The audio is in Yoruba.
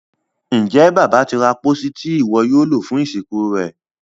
Njé Bàbá tí ra pósí Ti iwọ yóò lo fún ìsìnkú rẹ?